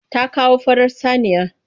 Ta kawo farar saniya.